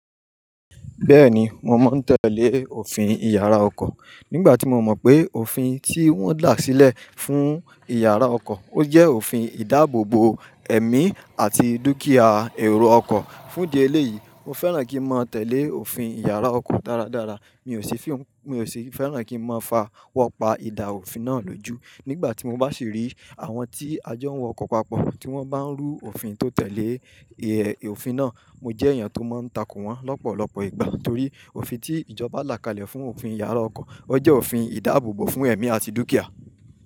Bẹ́ẹ̀ni, mo mọ̀ n tẹ́lẹ̀ òfin ìyára ọkọ̀. Nígbà tí mo mọ̀ pé òfin tí wọ́n là sílẹ̀ fún ìyára ọkọ̀, ó jẹ́ òfin ìdáàbòbò ẹ̀mí àti dúkìá èrò ọkọ̀. Fún'dí eléyìí, mo fẹ́ràn kí n máa tẹ̀lé òfin ìyára ọkọ̀ dáradára. Mi ò sì fẹ́ràn kí n máa fa wọ́pá ìdà òfin náà lójú. Nígbà tí mo bá sì rí àwọn tí ajá ń wọ ọkọ̀ papọ̀, tí wọ́n bá ń rú òfin tó tẹ̀lé òfin náà, mo jẹ́ èèyàn tó máa ń takó wọ́n lọ́pọ̀lọpọ̀ ìgbà. Nítorí òfin tí ìjọba là kalẹ̀ fún òfin ìyára ọkọ̀, ó jẹ́ òfin ìdáàbòbò fún ẹ̀mí àti dúkìá.